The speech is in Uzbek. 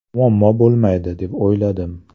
Muammo bo‘lmaydi deb o‘yladim.